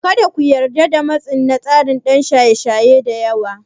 Kada ku yarda da matsi na tsara don shaye shaye da yawa.